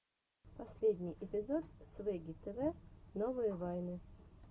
последний эпизод свегги тв новые вайны